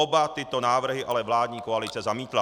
Oba tyto návrhy ale vládní koalice zamítla.